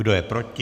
Kdo je proti?